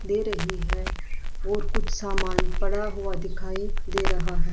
दे रही है और कुछ सामान पड़ा हुआ दिखाई दे रहा है।